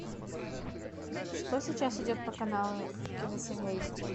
что сейчас идет по каналу киносемья эйч ди